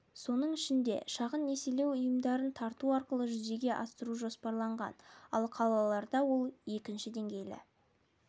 соның ішінде шағын несиелеу ұйымдарын тарту арқылы жүзеге асыру жоспарланған ал қалаларда ол екінші деңгейлі